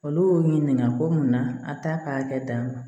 Olu y'u ɲininka ko mun na a t'a ka hakɛ d'a ma